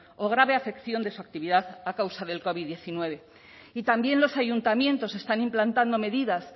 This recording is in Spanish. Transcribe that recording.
o grave afección de su actividad a causa del covid hemeretzi y también los ayuntamientos están implantando medidas